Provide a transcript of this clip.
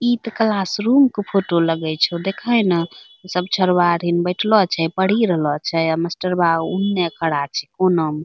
इतो क्लासरूम के फोटो लगै छो देखा ही न सब छोरवा हैन बैठलो आछे पढ़ी रहलो आछे अ मस्टरवा ओने खड़ा छे कोना में |